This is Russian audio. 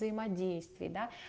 взаимодействии да